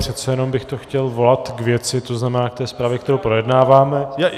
Přece jenom bych to chtěl volat k věci, to znamená k té zprávě, kterou projednáváme.